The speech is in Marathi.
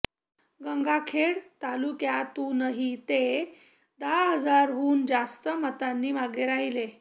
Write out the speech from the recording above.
गंगाखेड तालुक्यातूनही ते दहा हजारांहून जास्त मतांनी मागे राहिले